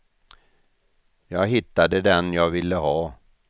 Jag hittade den jag ville ha.